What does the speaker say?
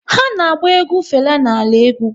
Ha na-agba egwu Fela na ala egwu